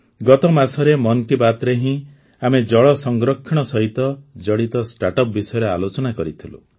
ଗତ ମାସରେ ମନ୍ କି ବାତ୍ରେ ହିଁ ଆମେ ଜଳ ସଂରକ୍ଷଣ ସହିତ ଜଡ଼ିତ ଷ୍ଟାର୍ଟଅପ୍ ବିଷୟରେ ଆଲୋଚନା କରିଥିଲୁ